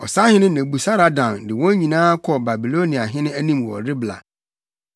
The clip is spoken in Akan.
Ɔsahene Nebusaradan de wɔn nyinaa kɔɔ Babiloniahene anim wɔ Ribla.